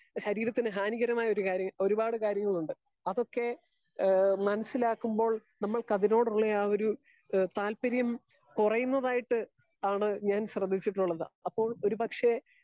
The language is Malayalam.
സ്പീക്കർ 2 ശരീരത്തിന് ഹാനികരമായ ഒരു കാര്യ ഒരുപാട് കാര്യങ്ങൾ ഉണ്ട് .അതൊക്കെ മനസ്സിലാക്കുമ്പോൾ നമ്മൾക്ക് അതിനോടുള്ള ആ ഒര് ഹേ താല്പര്യം കുറെയുന്നതായിട്ട് ആണ് ഞാൻ ശ്രെദ്ധിച്ചിട്ടുള്ളത്. അപ്പൊ ഒര് പക്ഷെ